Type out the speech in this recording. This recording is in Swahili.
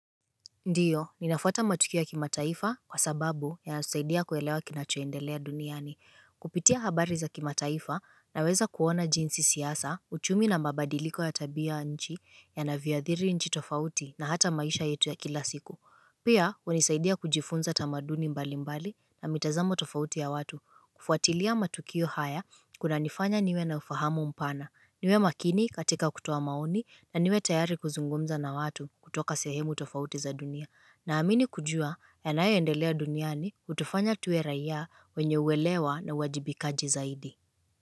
Ndiyo, ninafuata matukio ya kimataifa kwa sababu yanatusaidia kuelewa kinachoendelea duniani, kupitia habari za kimataifa naweza kuona jinsi siasa, uchumi na mabadiliko ya tabia nchi, yanavyoadhiri nchi tofauti na hata maisha yetu ya kila siku. Pia, hunisaidia kujifunza tamaduni mbali mbali na mitazamo tofauti ya watu, kufuatilia matukio haya kunanifanya niwe na ufahamu mpana, niwe makini katika kutoa maoni na niwe tayari kuzungumza na watu kutoka sehemu tofauti za dunia. Naamini kujua yanayo endelea duniani hutufanya tuwe raia wenye uwelewa na uwajibikaji zaidi.